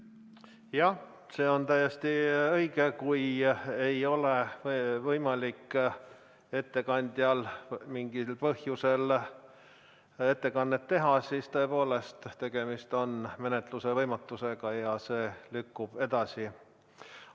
Jah, see on täiesti õige, et kui ei ole võimalik ettekandjal mingil põhjusel ettekannet teha, siis tõepoolest on tegemist menetluse võimatusega ja see lükkub edasi.